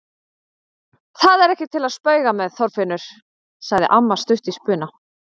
Það er ekki til að spauga með, Þorfinnur! sagði amma stutt í spuna.